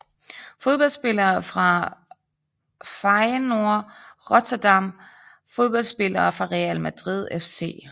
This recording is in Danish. Fodboldspillere fra Feyenoord Rotterdam Fodboldspillere fra Real Madrid CF